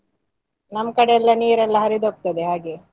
ನಮ್ಕಡೆ ಎಲ್ಲ ನೀರೆಲ್ಲ ಹರಿದು ಹೋಗ್ತದೆ ಹಾಗೆ.